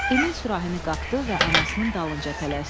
Emil sürahini qapdı və anasının dalınca tələsdi.